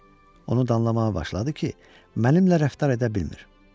Onu da anlamağa başladı ki, mənimlə rəftar edə bilmir.